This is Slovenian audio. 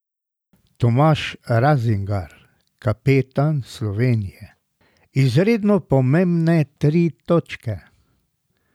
Tomaž Razingar, kapetan Slovenije: 'Izredno pomembne tri točke.